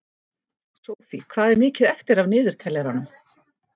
Sophie, hvað er mikið eftir af niðurteljaranum?